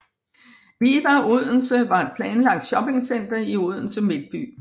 Viva Odense var et planlagt shoppingcenter i Odense midtby